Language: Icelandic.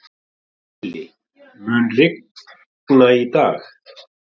Vili, mun rigna í dag?